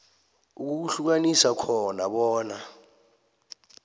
ukuhlukanisa khona bona